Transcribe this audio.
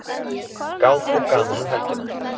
Gát og gaman um helgina